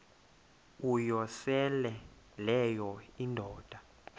uyosele leyo indoda